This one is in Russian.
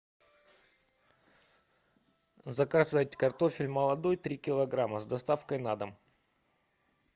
заказать картофель молодой три килограмма с доставкой на дом